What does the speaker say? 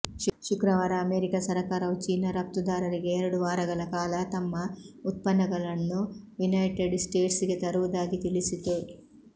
ಶುಕ್ರವಾರ ಅಮೆರಿಕ ಸರಕಾರವು ಚೀನಾ ರಫ್ತುದಾರರಿಗೆ ಎರಡು ವಾರಗಳ ಕಾಲ ತಮ್ಮ ಉತ್ಪನ್ನಗಳನ್ನು ಯುನೈಟೆಡ್ ಸ್ಟೇಟ್ಸ್ಗೆ ತರುವುದಾಗಿ ತಿಳಿಸಿತು